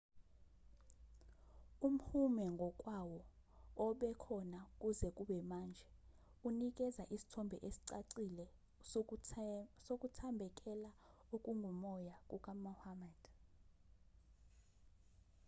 umhume ngokwawo obekhona kuze kube manje unikeza isithombe esicacile sokuthambekela okungokomoya kukamuhammad